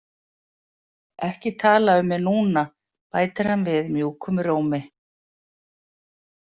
Ekki tala um mig núna, bætir hann við mjúkum rómi.